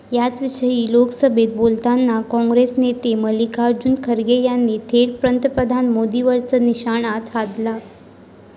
याचविषयी लोकसभेत बोलताना काँग्रेस नेते मल्लिकार्जुन खर्गे यांनी थेट पंतप्रधान मोदींवरच निशाणा साधला.